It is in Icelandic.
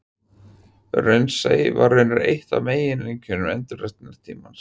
Raunsæi var raunar eitt af einkennum endurreisnartímans.